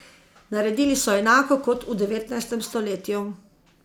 Naredili so enako kot v devetnajstem stoletju.